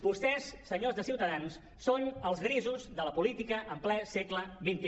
vostès senyors de ciutadans són els grisos de la política en ple segle xxi